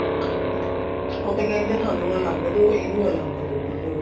ਉਹ ਤਾਂ ਕਹਿਣਗੇ ਸਾਨੂੰ ਅਲੱਗ ਦਿਓ ਇਹਨੂੰ ਅਲੱਗ ਦਿਓ ਹਮ